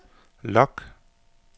log